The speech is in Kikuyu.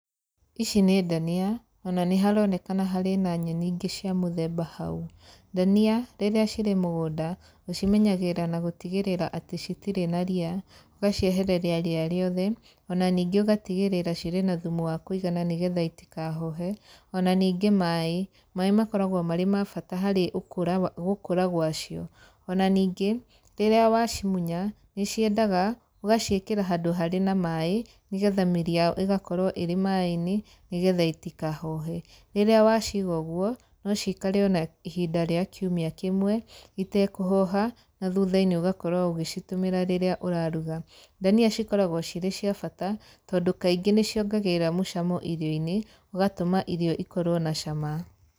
Ici nĩ ndania, ona nĩ haronekana harĩ na nyeni ingĩ cia mũthemba hau. Ndania, rĩrĩa cirĩ mũgũnda, ũcimenyagĩrĩra na gũtigĩrĩra atĩ citirĩ na ria, ũgaciehereria ria rĩothe, ona ningĩ ũgatigĩrĩra cirĩ na thumu wa kũigana nĩgetha itikahohe, ona ningĩ maĩ. Maĩ makoragwo marĩ ma bata harĩ ũkũra gũkũra gwa cio. Ona ningĩ, rĩrĩa wacimunya nĩ ciendaga ũgaciĩkĩra handũ harĩ na maĩ, nĩ getha mĩrĩ yayo ĩgakorwo ĩrĩ maĩ-inĩ nĩ getha itikahohe. Rĩrĩa waciga ũguo no ciikare ona ihinda rĩa kiumia kĩmwe, itekũhoha na thutha-inĩ ũgakorwo ũgĩcitũmĩra rĩrĩa ũraruga. Ndania cikoragwo cirĩ cia bata, tondũ kaingĩ nĩ ciongagĩrĩra mũcamo irio-inĩ, ũgatũma irio ikorwo na cama.